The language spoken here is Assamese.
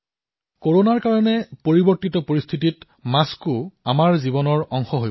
কৰোনাৰ বাবে পৰিৱৰ্তিত সময়ত মাস্কো আমাৰ জীৱনৰ অংশ হৈ পৰিছে